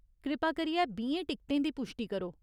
कृपा करियै बीहें टिकटें दी पुश्टी करो।